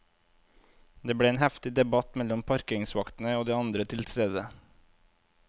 Det ble en heftig debatt mellom parkeringsvaktene og de andre tilstede.